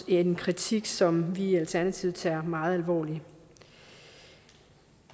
en kritik som vi i alternativet tager meget alvorligt